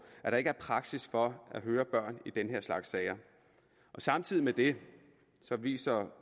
at der ikke er praksis for at høre børn i den her slags sager samtidig med det viser